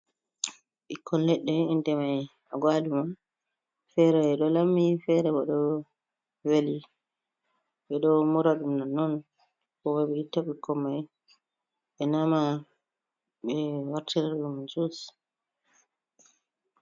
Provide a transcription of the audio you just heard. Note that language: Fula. Ɓikkon leɗɗe inɗe mai Agaluma, fere ɗo lammi, fere ɓo ɗo veli. Ɓe ɗo mura ɗum nonnon. Ko ɓo ɓe itta ɓikkon mai, ɓe nama, ɓe wartera ɗum jus.